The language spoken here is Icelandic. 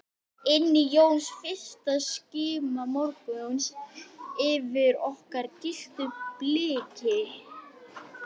Inni jós fyrsta skíma morguns yfir okkur gylltu bliki.